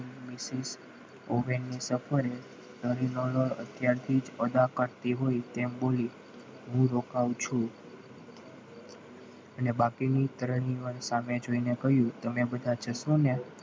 ઉભેલની સફરે અત્યારથી જ અદાવત રાખે તેમ બોલી હું રોકાવું છું અને બાકીની ક્રનિવલ સામે જોઈને કહ્યું તમે બધા જશો ને?